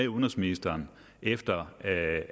udenrigsministeren efter at